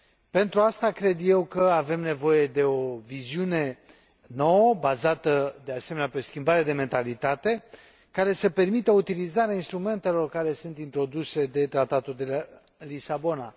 Pentru asta, cred eu, avem nevoie de o viziune nouă, bazată de asemenea pe o schimbare de mentalitate, care să permită utilizarea instrumentelor care sunt introduse de Tratatul de la Lisabona.